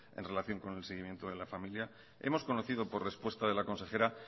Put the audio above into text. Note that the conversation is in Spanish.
en relación con el seguimiento de la familia hemos conocido por respuesta de la consejera